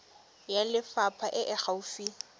ya lefapha e e gaufi